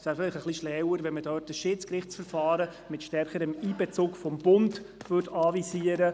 Es wäre vielleicht etwas schlauer, es würde dort ein Schiedsgerichtsverfahren mit stärkerem Einbezug des Bundes anvisiert.